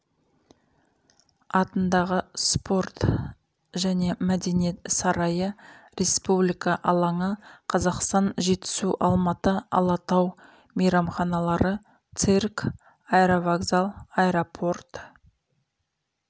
атындағы спорт және мәдениет сарайы республика алаңы қазақстан жетісу алматы алатау мейрамханалары цирк аэровокзал аэропорт